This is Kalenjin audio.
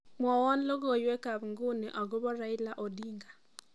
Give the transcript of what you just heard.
mwouni logoiwekab nguni akobo Raila Odinga